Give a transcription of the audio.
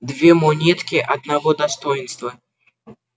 две монетки одного достоинства